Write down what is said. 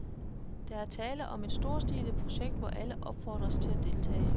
Der er tale om et storstilet projekt, hvor alle opfordres til at deltage.